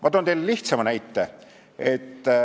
Ma toon lihtsama näite.